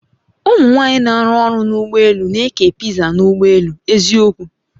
Umụ nwanyị n'arụ ọrụ n'ụgbọ elù n'eke piza n'ụgbọ elù, eziokwu!